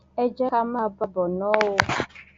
ẹ jẹ ká máa bá a bọ ná o